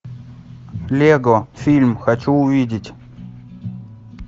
лего фильм хочу увидеть